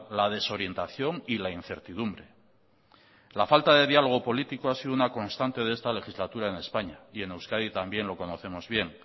la desorientación y la incertidumbre la falta de diálogo político ha sido una constante de esta legislatura en españa y en euskadi también lo conocemos bien